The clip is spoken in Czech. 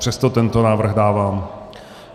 Přesto tento návrh dávám.